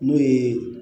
N'o ye